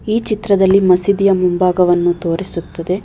ಈ ಚಿತ್ರದಲ್ಲಿ ಮಸೀದಿಯ ಮುಂಭಾಗವನ್ನು ತೋರಿಸುತ್ತದೆ.